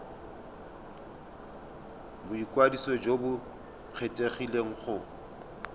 boikwadiso jo bo kgethegileng go